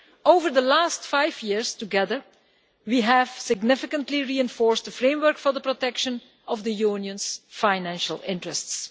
Over the last five years together, we have significantly reinforced a framework for the protection of the Union's financial interests.